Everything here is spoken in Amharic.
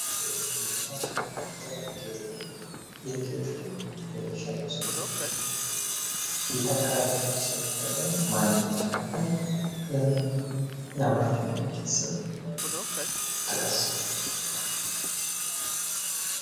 የአንገት ጌጥ ነው። አንገት ላይ የሚደረግ ጌጥ ነው። ይህ ጌጥ የሚሸጠው ስንት ብር ነው? የት አካባቢስ ነው የሚሸጠው? ማነው ያመረተው ያምራችሁን ስም ጥቀስ?